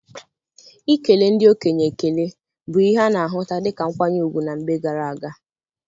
Ikele ndị okenye ekele bụ ihe a na-ahụta dịka nkwanye ùgwù na mgbe gara aga.